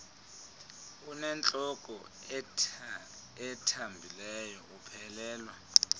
unentloko ethambileyo uphelelwa